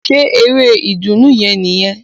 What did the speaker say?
Ṣe eré ìdùnnú yẹn nìyẹn?